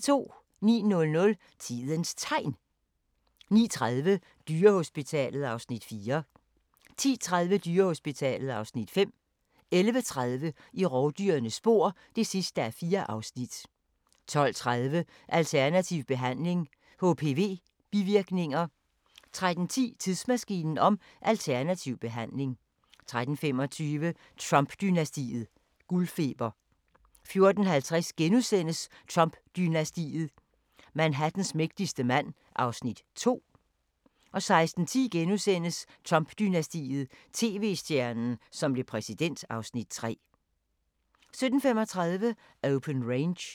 09:00: Tidens Tegn 09:30: Dyrehospitalet (Afs. 4) 10:30: Dyrehospitalet (Afs. 5) 11:30: I rovdyrenes spor (4:4) 12:30: Alternativ behandling – HPV-bivirkninger 13:10: Tidsmaskinen om alternativ behandling 13:25: Trump-dynastiet: Guldfeber 14:50: Trump-dynastiet: Manhattans mægtigste mand (Afs. 2)* 16:10: Trump-dynastiet: TV-stjernen, som blev præsident (Afs. 3)* 17:35: Open Range